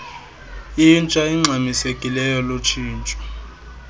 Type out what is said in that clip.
intsha ingxamisekileyo lutshintsho